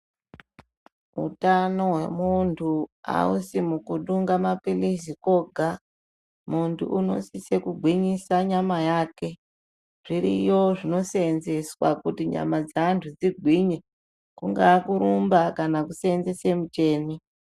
Utano hwemuntu aisi kutongaa maphilizi kwega munhu unosisa kugwinyisa nyama yake. Zviriyo zvinoseenzeswa kuti nyama dzeantu dzingwinye, kungaa kurumba kana kuseenzese micheni.